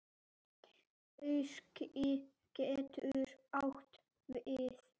Hyski getur átt við